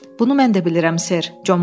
Bunu mən də bilirəm, ser.